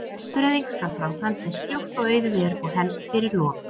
Fóstureyðing skal framkvæmd eins fljótt og auðið er og helst fyrir lok